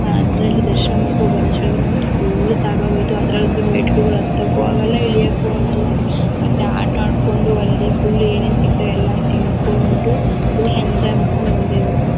ಆ ಅದ್ರಲ್ಲಿ ದರ್ಶನ ಮಾಡ್ಕೊಂಡು ಬರೋಷ್ಟರಲ್ಲಿ ನನಗೆ ಫುಲ್ ಸಾಕಾಗೋಯ್ತು ಅದರಲ್ಲಂತೂ ಮೆಟ್ಟಲುಗಳನ್ನು ಹತ್ತಕ್ಕೂ ಆಗಲ್ಲ ಇಳಿಯಕ್ಕೂ ಆಗಲ್ಲ ಮತ್ತೆ ಆಟ ಆಡ್ಕೊಂಡು ಅಲ್ಲಿ ಫುಲ್ ಏನೇನು ಸಿಕ್ತದೆ ಎಲ್ಲನು ತಿನ್ಕೊಂಡು ಫುಲ್ ಎಂಜಾಯ್ ಮಾಡ್ಕೊಂಡು ಬಂದೆ ಇವತ್ತು ನಾನು.